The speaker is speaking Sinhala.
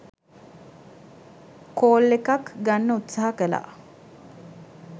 කෝල් එකක් ගන්න උත්සාහ කළා.